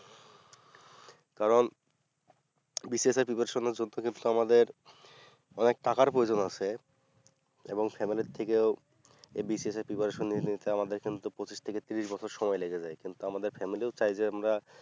কারণ BCS এর preparation এর জন্যে কিন্তু আমাদের অনেক টাকার প্রজোযন আছে এবং family এর থেকে এই BCS এর preparation নিলে এতে আমাদের কিন্তু পঁচিশ থেকে তিরিশ বছর সময় লেগে যাই কিন্তু আমাদের family চাই যে আমরা